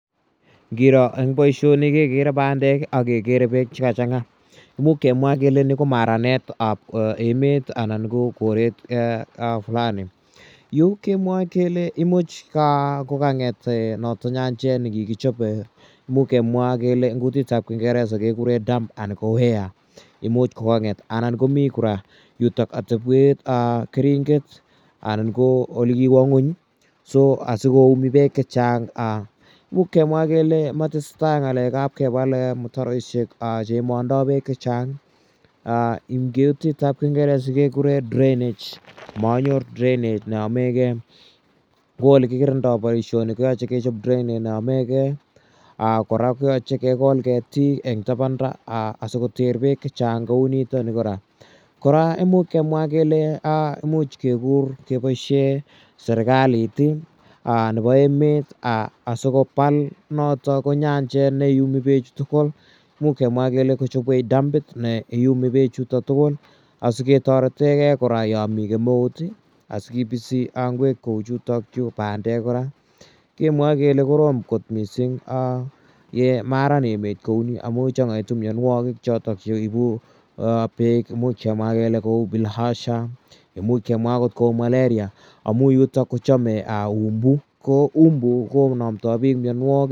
Ngiro eng' poishoni kekere pandek ak kekere peek che ka chang'aa, imuch kemwa kele ni ko maranetap emet anan ko koret fulani. Yu kemwae kele imuch ko kang'et noyok nyanjet ne kikichop. Imuch kemwa kele eng' kutit ap kingeresa kekure dam anan ko ware, Imuch ko kang'et anan komi kora yutok atepwet anan keringet anan ko ole kiwa ng'uny asi koumi peek che chang'. Imuch kemwa kele ma tese tai ng'alek ap kepal mtaroishek che imandai peek che chang' eng' kutit ap kingeresa kelen drainage , manyor drainage ne yamegei. Ko ole kikirindai poishoni ko yache kechop drainage ne yame gei. Kora ko yache kekol ketiik eng' tapanda asikoter peek che chang' kou nitani kora. Kora imuch kemwa kele imuch kekur kepoishe serkalit nepo emet asikopal notok ko nyanjet ne iumi peechu tugul. Imuch kemwa kele kochopwech damit ne iumi pechu tugul asi ketarete gei kora ya mi kemeut asi kipisi ngwek kou chutachu, pandek kora. Kemwae kele korom kot missing' ye maran emet kou ni amu chang'aitu mianwagik chotok che ipu peek, imuch kemwa kele kou Bilharzia, imuch kemwa akot kou Malaria amu yutok ko chame umbu. Ko umbu konamdai pik mianwagik.